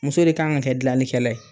Muso de kan ka kɛ gilanli kɛlɛla ye